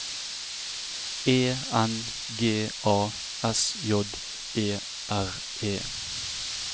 E N G A S J E R E